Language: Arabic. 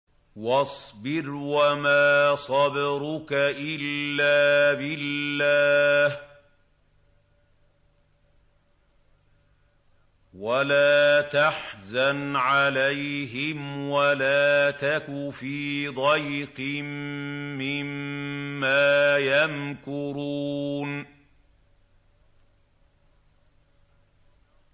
وَاصْبِرْ وَمَا صَبْرُكَ إِلَّا بِاللَّهِ ۚ وَلَا تَحْزَنْ عَلَيْهِمْ وَلَا تَكُ فِي ضَيْقٍ مِّمَّا يَمْكُرُونَ